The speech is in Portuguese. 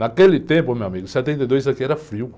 Naquele tempo, meu amigo, em setenta e dois, aqui era frio.